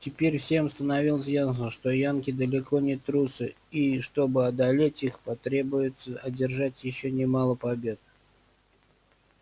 теперь всем становилось ясно что янки далеко не трусы и чтобы одолеть их потребуется одержать ещё немало побед